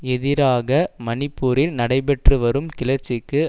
எதிராக மணிப்பூரில் நடைபெற்றுவரும் கிளர்ச்சிக்கு